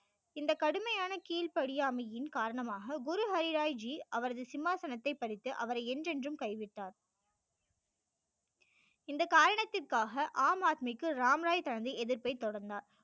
இந்த கடுமையான கீழ் படியாமையின் காரணமாக குரு ஹரி ராய் ஜி அவரது சிம்மாசனத்தை பறித்து அவரை என்றன்றும் கைவிட்டார் இந்த காரணத்திற்காக ஆம் ஆத்மிக்கு ராம் ராய் தனது எதிர்ப்பை தொடர்ந்தார்